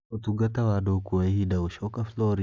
Ũtungata wa andũ ũkuoya ihinda gũcoka Florida